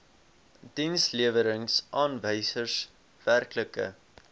dienslewerings aanwysers werklike